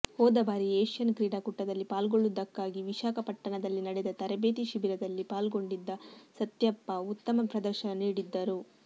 ಹೋದ ಬಾರಿ ಏಷ್ಯನ್ ಕ್ರೀಡಾಕೂಟದಲ್ಲಿ ಪಾಲ್ಗೊಳ್ಳುವುದಕ್ಕಾಗಿ ವಿಶಾಖಪಟ್ಟಣದಲ್ಲಿ ನಡೆದ ತರಬೇತಿ ಶಿಬಿರದಲ್ಲಿ ಪಾಲ್ಗೊಂಡಿದ್ದ ಸತ್ಯಪ್ಪ ಉತ್ತಮ ಪ್ರದರ್ಶನ ನೀಡಿದ್ದರು